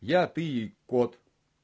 я ты и кот